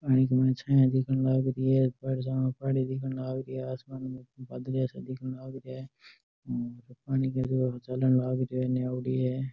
आ इंग माह छाया दिखन लाग रही है पानी दिखन लाग रहा है आसमान में बादलिया सा दिखन लग रहा है --